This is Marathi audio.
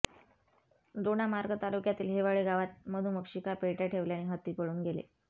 दोडामार्ग तालुक्यात हेवाळे गावात मधुमक्षिका पेटय़ा ठेवल्याने हत्ती पळून गेले